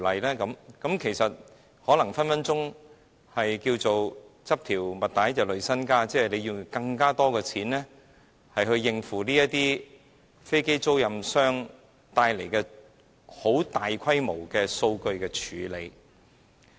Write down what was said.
這很可能會"執條襪帶累身家"，意即用更多金錢以應付飛機租賃管理商帶來的大規模數據處理。